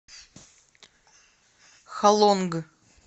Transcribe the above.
халонг